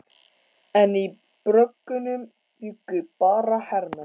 En í bröggunum bjuggu bara hermenn.